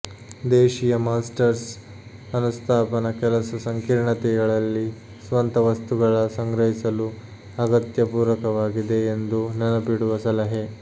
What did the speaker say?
ದೇಶೀಯ ಮಾಸ್ಟರ್ಸ್ ಅನುಸ್ಥಾಪನ ಕೆಲಸ ಸಂಕೀರ್ಣತೆಗಳಲ್ಲಿ ಸ್ವಂತ ವಸ್ತುಗಳ ಸಂಗ್ರಹಿಸಲು ಅಗತ್ಯ ಪೂರಕವಾಗಿದೆ ಎಂದು ನೆನಪಿಡುವ ಸಲಹೆ